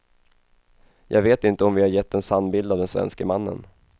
Jag vet inte om vi har gett en sann bild av den svenske mannen.